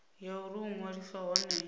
ya uri u ṅwaliswa hone